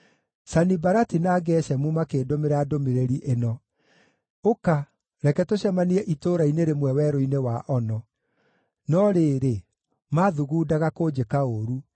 Sanibalati na Geshemu makĩndũmĩra ndũmĩrĩri ĩno: “Ũka, reke tũcemanie itũũra-inĩ rĩmwe werũ-inĩ wa Ono.” No rĩrĩ, maathugundaga kũnjĩka ũũru;